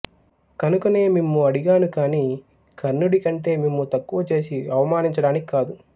కనుకనే మిమ్ము అడిగాను కాని కర్ణుడికంటే మిమ్ము తక్కువ చేసి అవమానించడానికి కాదు